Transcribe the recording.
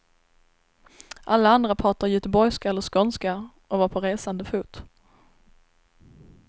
Alla andra pratade göteborgska eller skånska och var på resande fot.